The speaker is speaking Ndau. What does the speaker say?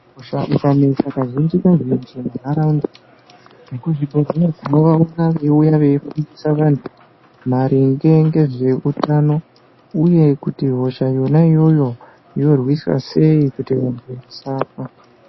Hosha ikanesa kazhinji-kazhinji muntaraunda vekuzvibhedhleya tinovaona veiuya veifundisa vantu maringe ngezveutano, uye kuti hosha yona iyoyo yorwiswa sei kuti vantu vasafa.